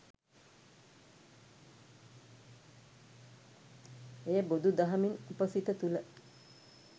එය බොදු දහමින් අප සිත තුල